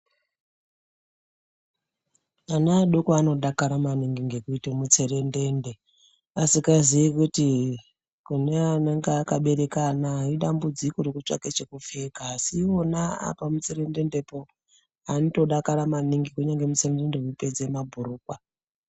Ana adoko anodakara maningi ngokuite mutserendende asikaziyi kuti kune anenge akabereke ana idambudziko rekutsvake chokupfeka asi iwona apamutserendendepo anotodakara maningi kunyange mutserendende weipedze mabhurukwa.